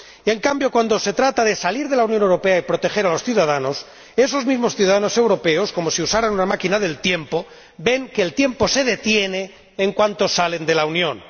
En cambio, cuando se trata de salir de la Unión Europea y proteger a los ciudadanos, esos mismos ciudadanos europeos, como si usaran una máquina del tiempo, ven que el tiempo se detiene en cuanto salen de la Unión.